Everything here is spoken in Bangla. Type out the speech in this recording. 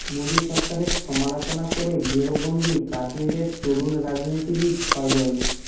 মোদি সরকারের সমালোচনা করে গৃহবন্দি কাশ্মীরের তরুণ রাজনীতিবিদ ফয়জল